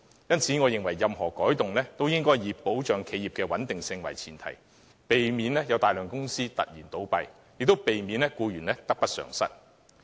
因此，我認為任何改動均應以保持企業穩定為前提，避免導致大量公司倒閉，亦避免僱員得不償失。